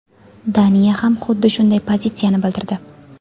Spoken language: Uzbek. Daniya ham xuddi shunday pozitsiyani bildirdi.